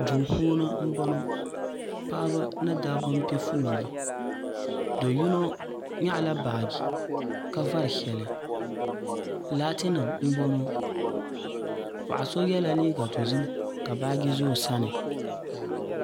duu puuni n boŋo paɣaba ni dabba n piɛ fooli do yino nyaɣala baaji ka vari shɛli laati nim n boŋo paɣa so yɛla liiga dozim ka baaji do o sani